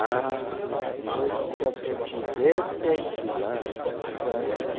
Ah, música, se eu tivesse aqui lá, lá, lá